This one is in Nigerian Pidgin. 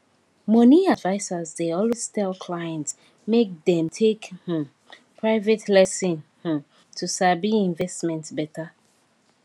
money advisers dey always tell clients make dem take um private lesson um to sabi investment better